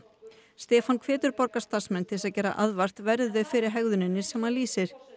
Stefán hvetur borgarstarfsmenn til þess að gera aðvart verði þau fyrir hegðuninni sem hann lýsir